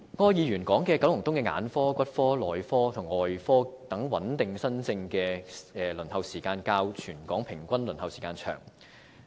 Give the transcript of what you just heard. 柯議員指出九龍東的眼科、骨科、內科及外科等穩定新症的輪候時間較全港的平均輪候時間為長。